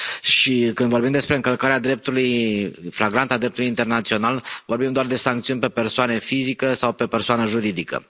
Și când vorbim despre încălcarea flagrantă a dreptului internațional, vorbim doar de sancțiuni pe persoană fizică sau pe persoană juridică?